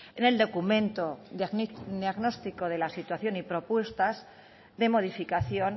en el documento diagnóstico de la situación y propuestas de modificación